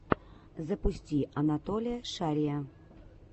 запусти анатолия шария